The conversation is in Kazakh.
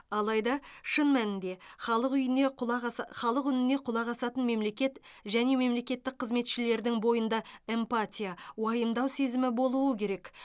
алайда шын мәнінде халық үйіне құлақ аса халық үніне құлақ асатын мемлекет және мемлекеттік қызметшілердің бойында эмпатия уайымдау сезімі болуы керек